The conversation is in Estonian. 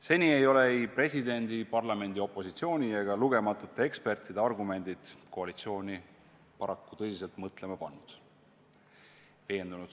Seni ei ole ei presidendi, parlamendi, opositsiooni ega lugematute ekspertide argumendid koalitsiooni paraku tõsiselt mõtlema pannud.